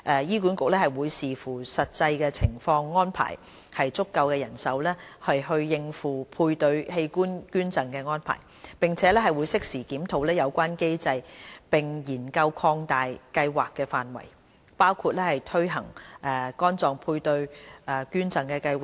醫管局會視乎實際情況安排足夠的人手應付配對器官捐贈安排，並會適時檢討有關機制並研究擴大計劃範圍，包括推行肝臟配對捐贈計劃。